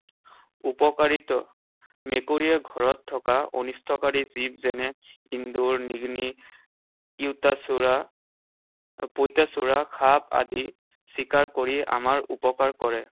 উপকাৰিতা। মেকুৰীয়ে ঘৰত থকা অনিষ্টকাৰী জীৱ যেনে এন্দুৰ, নিগনি, চোৰা, পইতাচোৰা, সাপ আদি চিকাৰ কৰি আমাৰ উপকাৰ কৰে।